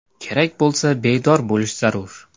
Kerak bo‘lsa, bedor bo‘lish zarur.